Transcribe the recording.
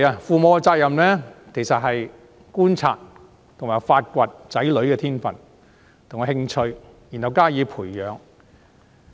父母的責任是觀察和發掘子女的天分和興趣，然後加以培養。